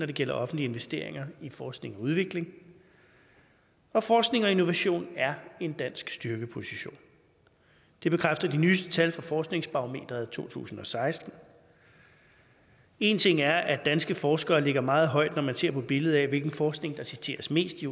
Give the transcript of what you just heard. det gælder offentlige investeringer i forskning og udvikling og forskning og innovation er en dansk styrkeposition det bekræfter de nyeste tal fra forskningsbarometeret to tusind og seksten en ting er at danske forskere ligger meget højt når man ser på billedet af hvilken forskning der citeres mest i